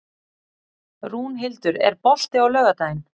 Rúnhildur, er bolti á laugardaginn?